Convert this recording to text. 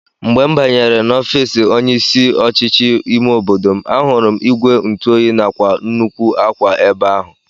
Mgbe m banyere n'ofiisi onye isi ọchịchị ime obodo m, ahụrụ m ìgwè ntụoyi nakwa nnukwu akwa ebe ahụ